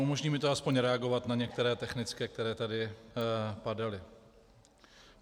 Umožní mi to aspoň reagovat na některé technické, které tady padaly.